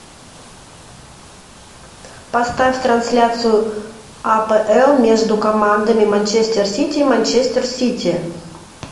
поставь трансляцию апл между командами манчестер сити манчестер сити